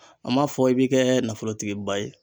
An m'a fɔ i bi kɛ nafolotigiba ye